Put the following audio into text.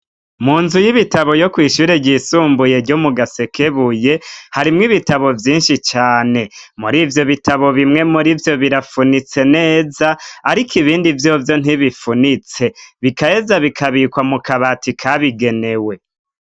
Mu nzu y'ibitabo yo kwishure ryisumbuye ryo mugasekebuye harimwo ibitabo vyinshi cane muri ivyo bitabo bimwe muri vyo birafunitse neza ariko ibindi vyovyo ntibifunitse bigaheza bikabikwa mu kabati kabigenewe.